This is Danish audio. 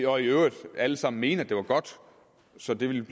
og i øvrigt alle sammen mene at det var godt så det ville